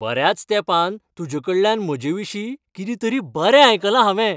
बऱ्याच तेंपान तुजेकडल्यान म्हजेविशीं कितें तरी बरें आयकलां हांवें.